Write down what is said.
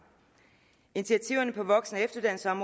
initiativerne på voksen